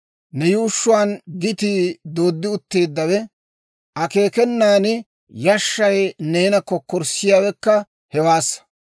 Ne yuushshuwaan gitii dooddi utteeddawe; akeekenan yashshay neena kokkorssiyaawekka hewaassa.